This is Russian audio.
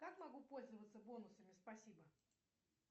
как могу пользоваться бонусами спасибо